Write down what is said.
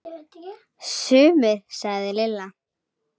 Sumir sagði Lilla.